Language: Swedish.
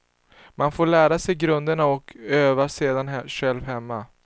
Man får lära sig grunderna och övar sedan själv hemma.